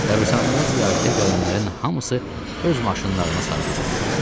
Qəbristanlığa ziyarətə gələnlərin hamısı öz maşınlarına sarı götürüldülər.